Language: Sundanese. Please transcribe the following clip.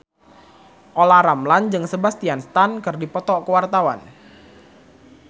Olla Ramlan jeung Sebastian Stan keur dipoto ku wartawan